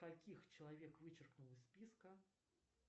каких человек вычеркнул из списка